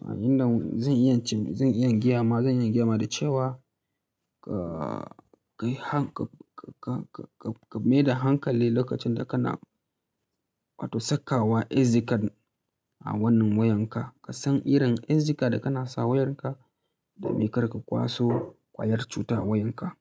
Inda zan iya, zan iya gya ma, zan iya gya ma da cewa ka kai, ka, ka, ka, ka, ka, ka mai da hankali lokacin da kana wato saka wa SD card a wannan wayanka. Ka san irin SD card da kana sa wayarka domin kar ka kwaso ƙwayar cuta wayanka.